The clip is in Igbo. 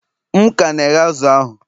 M ka na-ehe azụ̀ ahụ